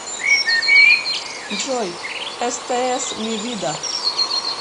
джой эста эс ми вида